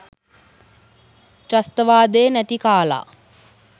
ත්‍රස්තවාදේ නැති කාලා